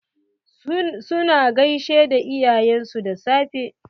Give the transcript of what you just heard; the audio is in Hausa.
Su na gaishe da iyayen su da safe?